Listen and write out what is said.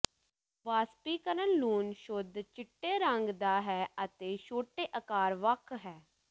ਵਾਸਪੀਕਰਨ ਲੂਣ ਸ਼ੁੱਧ ਚਿੱਟੇ ਰੰਗ ਦਾ ਹੈ ਅਤੇ ਛੋਟੇ ਆਕਾਰ ਵੱਖ ਹੈ